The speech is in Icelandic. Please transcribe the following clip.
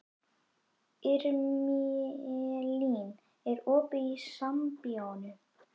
Irmelín, er opið í Sambíóunum?